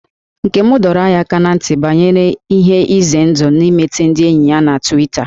Nne m dọrọ anyị aka ná ntị banyere ihe ize ndụ dị n'imete ndị enyi na Twita